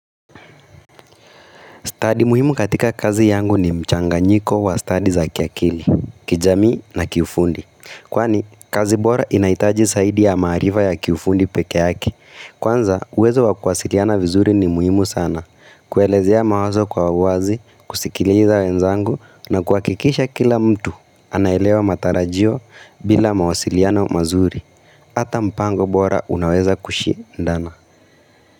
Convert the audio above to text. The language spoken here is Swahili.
Study muhimu katika kazi yangu ni mchanganyiko wa study za kiakili, kijamii na kiufundi. Kwani, kazi bora inahitaji zaidi ya maarifa ya kiufundi pekee yake. Kwanza, uwezo wa kuwasiliana vizuri ni muhimu sana. Kuelezea mawazo kwa wazi, kusikiliza wenzangu na kuhakikisha kila mtu anaelewa matarajio bila mawasiliana mazuri. Ata mpango bora unaweza kushindana.